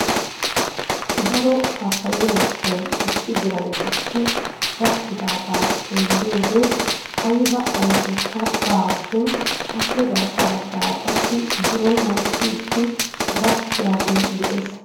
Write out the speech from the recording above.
Daro pappayyiya mittay issi diran dicci gaakidaaga xeelliyode aybba ayfekka baawa shin appe garssa baggaara qassi biron mokkidi gakkiyaagee de'ees